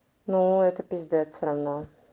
но это пиздец все равно